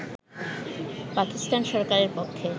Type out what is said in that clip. পাকিস্তান সরকারের পক্ষে